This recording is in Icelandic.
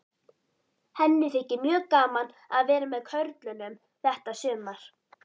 Henni þykir mjög gaman að vera með körlunum þetta sumar.